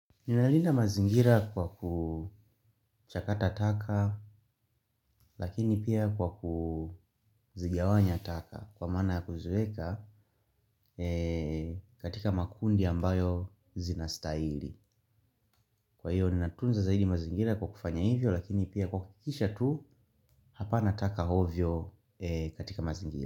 Ninalinda mazingira kwa kuchakata taka lakini pia kwa kuzigawanya taka kwa mana kuzueka katika makundi ambayo zinastaili. Kwa hiyo ni natunza zaidi mazingira kwa kufanya hivyo lakini pia kukikisha tu hapa nataka hovio katika mazingira.